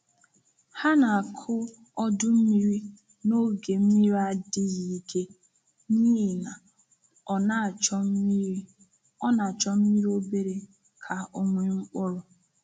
Ha na-akụ ọdụ mmiri n’oge mmiri adịghị ike n’ihi na ọ na-achọ mmiri obere ka ọ nwee mkpụrụ.